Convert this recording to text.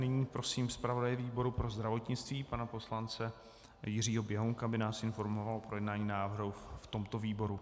Nyní prosím zpravodaje výboru pro zdravotnictví pana poslance Jiřího Běhounka, aby nás informoval o projednání návrhu v tomto výboru.